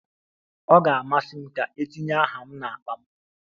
Ọ ga-amasị m ka etinye aha m n'akpa m.